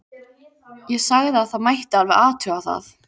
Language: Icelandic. Ég sagði að það mætti alveg athuga það.